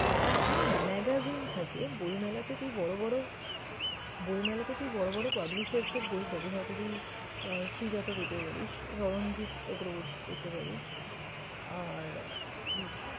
আহ হ্যাঁ! magazine থাকে বইমেলাতে তুই বড়ো বড়ো বইমেলাতে তুই বড়ো বড়ো publishers এর বই পাবি। হয়তো তুই শ্রীজাত ও পেতে পারিস, স্মরণজিৎ চক্রবর্তী পেতে পারিস আর হম